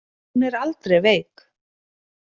Hún er aldrei veik.